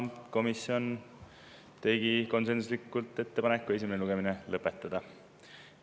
Komisjon tegi konsensuslikult ettepaneku esimene lugemine lõpetada.